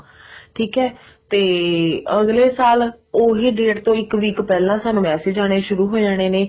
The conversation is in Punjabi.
ਠੀਕ ਆ ਤੇ age ਸਾਲ ਉਹੀ date ਤੋਂ ਇੱਕ week ਪਹਿਲਾਂ ਸਾਨੂੰ message ਆਨੇ ਸ਼ੁਰੂ ਹੋ ਜਾਂਦੇ ਨੇ